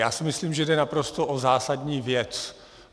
Já si myslím, že jde naprosto o zásadní věc.